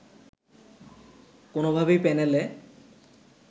কোনোভাবেই প্যানেলে